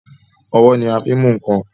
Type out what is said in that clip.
Ọwọ́ ni a fin mú nkan